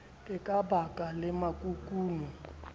e ka ba le makukuno